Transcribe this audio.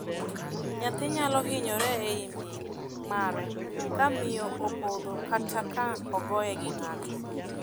Nyathi nyalo hinyore ei min mare ka miyo opodho kata ka ogoye gi ng'ato.